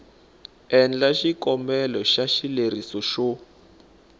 endla xikombelo xa xileriso xo